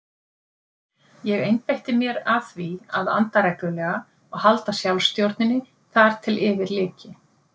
Ég einbeitti mér að því að anda reglulega og halda sjálfsstjórninni þar til yfir lyki.